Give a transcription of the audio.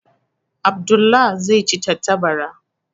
Abdullah zai ci tantabara.